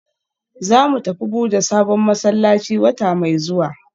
Zamu tafi buda sabon masallaci wata mai zuwa